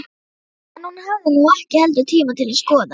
En hún hafði nú ekki heldur tíma til að skoða